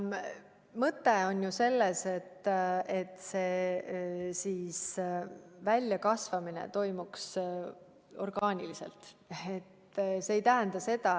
Mõte on selles, et see arenemine toimuks orgaaniliselt.